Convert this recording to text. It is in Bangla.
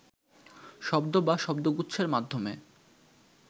শব্দ বা শব্দগুচ্ছের মাধ্যমে